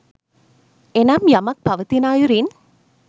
එනම් යමක් පවතින අයුරින්